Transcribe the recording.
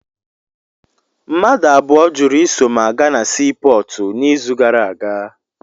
Mmadụ abụọ jụrụ iso m aga na sii pọọtụ n'izu gara aga.